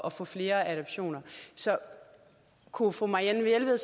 at få flere adoptioner så kunne fru marianne jelved